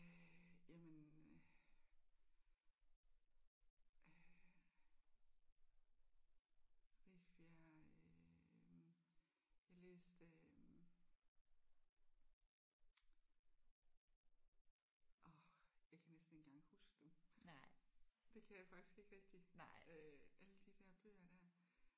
Øh jamen øh øh Rifbjerg øh jeg læste øh åh jeg kan næsten ikke engang huske dem. Det kan jeg faktisk ikke rigtig øh alle de der bøger der